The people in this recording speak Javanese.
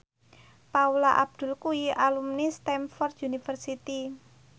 Paula Abdul kuwi alumni Stamford University